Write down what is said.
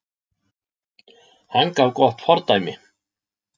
Hann gaf gott fordæmi